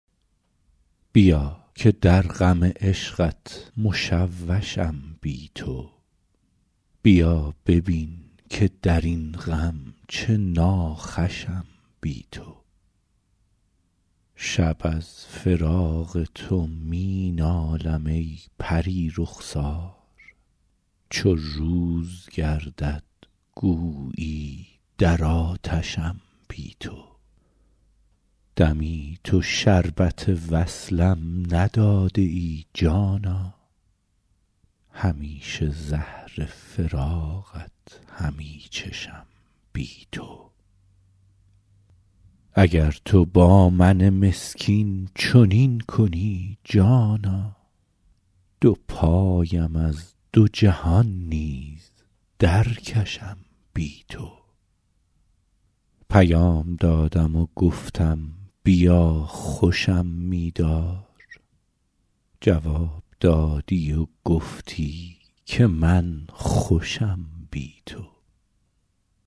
بیا که در غم عشقت مشوشم بی تو بیا ببین که در این غم چه ناخوشم بی تو شب از فراق تو می نالم ای پری رخسار چو روز گردد گویی در آتشم بی تو دمی تو شربت وصلم نداده ای جانا همیشه زهر فراقت همی چشم بی تو اگر تو با من مسکین چنین کنی جانا دو پایم از دو جهان نیز درکشم بی تو پیام دادم و گفتم بیا خوشم می دار جواب دادی و گفتی که من خوشم بی تو